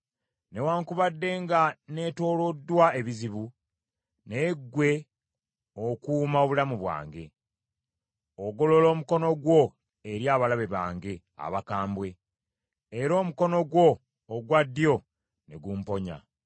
Newaakubadde nga neetooloddwa ebizibu, naye ggwe okuuma obulamu bwange; ogolola omukono gwo eri abalabe bange abakambwe, era omukono gwo ogwa ddyo ne gumponya.